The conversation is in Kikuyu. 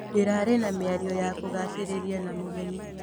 Ndĩrarĩ na mĩario ya kũgucĩrĩria na mũgeni.